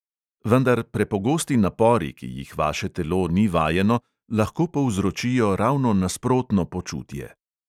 Vendar prepogosti napori, ki jih vaše telo ni vajeno, lahko povzročijo ravno nasprotno počutje.